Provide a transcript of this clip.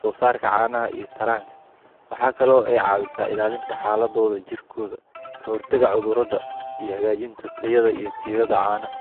soo saarka caanaha iyo taranka, waxaa kale oo aay ka caawisa ilaalinta xaaladoda jirkooda, kahor taga cudurada iyo hagaajinta tayada caanaha.